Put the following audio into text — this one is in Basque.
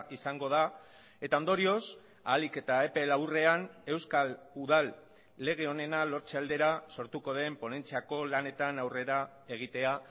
izango da eta ondorioz ahalik eta epe laburrean euskal udal lege onena lortze aldera sortuko den ponentziako lanetan aurrera egitea